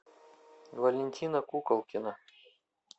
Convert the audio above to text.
валентина куколкина